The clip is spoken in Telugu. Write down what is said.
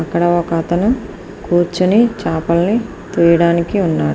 ఇక్కడ ఒక అతను కూర్చొని చేపలను కోయడానికి ఉన్నాడు.